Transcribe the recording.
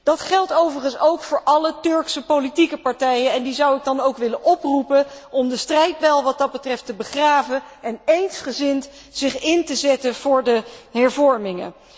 Dat geldt overigens ook voor alle Turkse politieke partijen en die zou ik dan ook willen oproepen om de strijdbijl wat dat betreft te begraven en zich eensgezind in te zetten voor de hervorming.